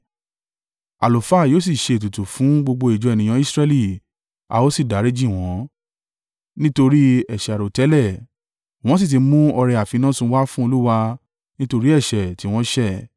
Àlùfáà yóò sì ṣe ètùtù, fun gbogbo ìjọ ènìyàn Israẹli, a ó sì dáríjì wọ́n, nítorí ẹ̀ṣẹ̀ àìròtẹ́lẹ̀, wọ́n sì ti mú ọrẹ àfinásun wá fún Olúwa nítorí ẹ̀ṣẹ̀ tí wọ́n ṣẹ̀.